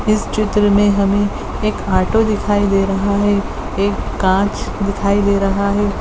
इस चित्र में हमें एक ऑटो दिखाई दे रहा है एक काँच दिखाई दे रहा है।